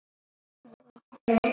Elsku afi Siggi.